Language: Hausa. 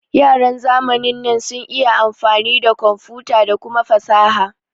Yaran zamanin nan sun iya amfani da komfuta da kuma fasaha